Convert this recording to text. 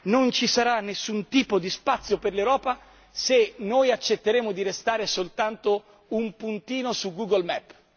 Non ci sarà nessun tipo di spazio per l'Europa se noi accetteremo di restare soltanto un puntino su Google Maps